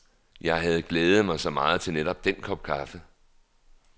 Jeg havde glædet mig så meget til netop den kop kaffe.